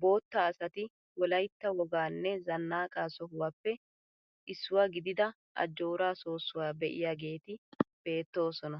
bootta asati wolaytta wogaanne zannaqaa sohuwaappe issuwaa gidida ajjooraa soossuwaa be'iyaageti beettoosona.